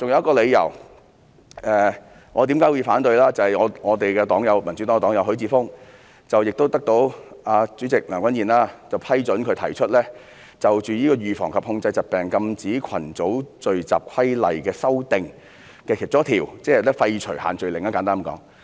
我還有一個反對的理由，就是民主黨的黨友許智峯議員獲大會主席梁君彥批准，就《預防及控制疾病規例》提出一項修訂，簡單而言，就是廢除限聚令。